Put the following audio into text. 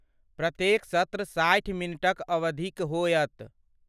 प्रत्येक सत्र साठि मिनटक अवधिक होयत।